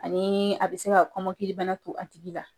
Ani a bɛ se ka kɔmɔkilibana to a tigi la.